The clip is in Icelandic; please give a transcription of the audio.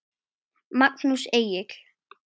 Magnús Egill.